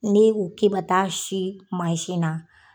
Ne k'o ba taa si na